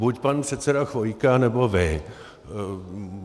Buď pan předseda Chvojka, nebo vy.